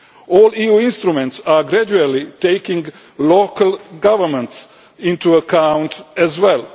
All EU instruments are gradually taking local governments into account as well.